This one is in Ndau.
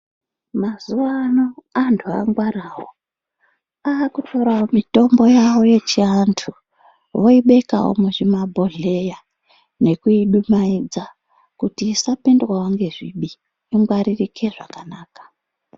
Mazuwano antu angwarawo. Akutorawo mutombo yavo yechianhu voibekawo muzvibhodhleya nekuidumaidza kuti isapindawo ngezvibi ingwaririke zvakanaka.